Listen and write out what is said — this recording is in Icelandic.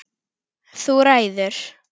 Þú ræður.